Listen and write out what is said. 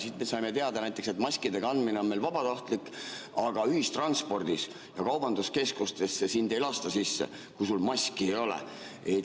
Siit me saime teada näiteks, et maskide kandmine on meil vabatahtlik, aga ühistransporti ja kaubanduskeskustesse sind ei lasta sisse, kui sul maski ei ole.